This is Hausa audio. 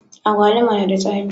Agwaluma na da tsami